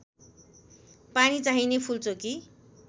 पानी चाहिने फूलचोकी